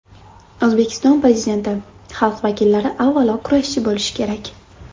O‘zbekiston Prezidenti: Xalq vakillari avvalo kurashchi bo‘lishi kerak.